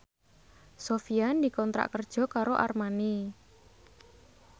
Sofyan dikontrak kerja karo Armani